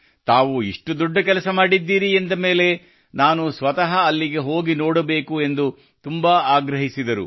ತಾವು ಇಷ್ಟು ದೊಡ್ಡ ಕೆಲಸ ಮಾಡಿದ್ದೀರಿ ಎಂದ ಮೇಲೆ ನಾನು ಸ್ವತಃ ಅಲ್ಲಿಗೆ ಹೋಗಿ ನೋಡಬೇಕು ಎಂದು ತುಂಬಾ ಆಗ್ರಹಿಸಿದರು